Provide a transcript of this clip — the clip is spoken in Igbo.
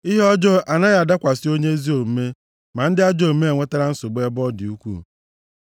Ihe ọjọọ anaghị adakwasị onye ezi omume, ma ndị ajọ omume enwetala nsogbu ebe ọ dị ukwuu.